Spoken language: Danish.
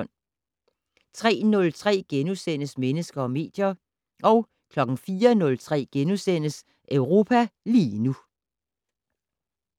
03:03: Mennesker og medier * 04:03: Europa lige nu *